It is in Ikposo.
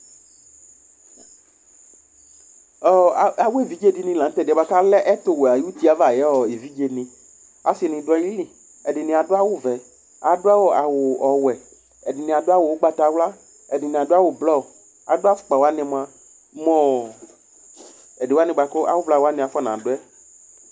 Ɔ awʋ, aw'evidze dini lan'tɛdi yɛ bua k'ɔlɛ ɛtʋwɛ ʋy'uti yɛ ava ayʋ evidzeni Asini dʋ ayili, ɛdini adʋ awʋ vɛ, adʋ awʋ, awʋ ɔwɛ, ɛdini adʋ awʋ ʋgbatawla, ɛdini adʋ awʋ blɔ, adʋ afʋkpawani mʋa mʋɔɔ edi wani bʋa k'awʋ vlani afɔnadʋ yɛ